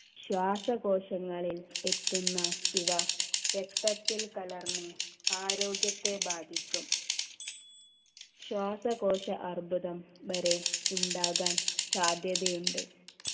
ശ്വാസകോശങ്ങളിൽ എത്തുന്ന ഇവ രക്തത്തിൽ കലർന്ന് ആരോഗ്യത്തെ ബാധിക്കും ശ്വാസകോശ അർബുദം വരെ ഉണ്ടാകാൻ സാധ്യതയുണ്ട്